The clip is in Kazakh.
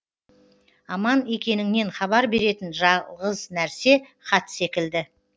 аман екеніңнен хабар беретін жалғыз нәрсе хат секілді